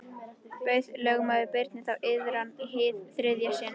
Bauð lögmaður Birni þá iðran í hið þriðja sinn.